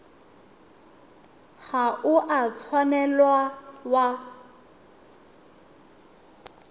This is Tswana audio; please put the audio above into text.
ga o a tshwanela wa